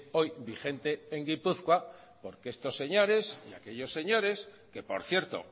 hoy vigente en gipuzkoa porque estos señores y aquellos señores que por cierto